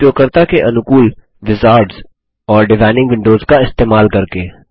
उपयोगकर्ता के अनुकूल विजार्ड्स और डिजाइनिंग विंडोज का इस्तेमाल करके